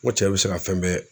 Ko cɛ be se ka fɛn bɛɛ